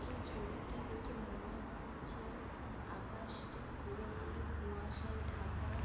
এই ছবিটি দেখে মনে হচ্ছে-এ আকাশটি পুরো পুরি কুয়াশায় ঢাকা।